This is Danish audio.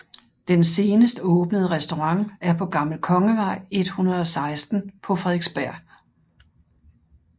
Den senest åbnede restaurant er på Gammel Kongevej 116 på Frederiksberg